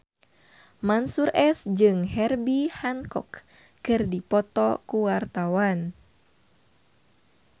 Mansyur S jeung Herbie Hancock keur dipoto ku wartawan